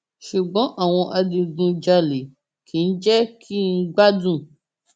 ṣùgbọn àwọn adigunjalè kì í jẹ kí n gbádùn